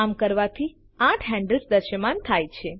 આમ કરવાથી આઠ હેન્ડલ્સ દૃશ્યમાન થાય છે